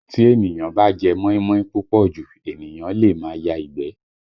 Tí èniyàn bá jẹ́ móímóí púpọ̀ jù, ènìyàn lè máa ya ìgbẹ́